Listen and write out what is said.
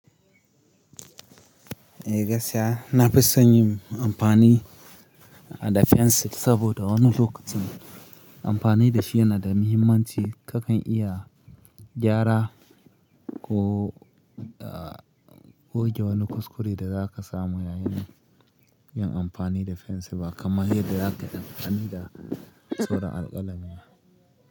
Eh gaskiya na fi son yin amfani da fensil saboda wani lokacin amfani da shi yana da mihimmanci. Kakan iya gyara ko, ah, goge wani kuskure da za ka samu yayin yin amfani da fensil ba kamar yadda za kai amfani da saron alƙalami.